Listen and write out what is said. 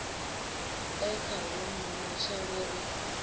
e khavho mma matshelo ri